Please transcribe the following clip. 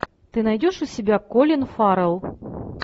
ты найдешь у себя колин фаррелл